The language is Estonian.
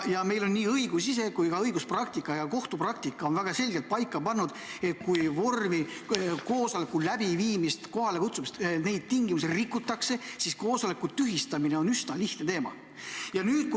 Ja meil on nii õigustik ise kui ka õiguspraktika ja kohtupraktika väga selgelt paika pannud, et kui koosolekul läbiviimise ja kokkukutsumise tingimusi rikutakse, siis koosoleku tühistamine on üsna lihtne.